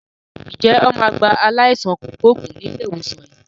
Ǹjẹ́ wọn máa gba aláìsàn kògbógùn ni ilé ìwòsàn yín?